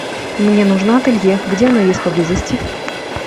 мне нужно ателье где оно есть поблизости